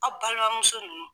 Aw balimamuso ninnu.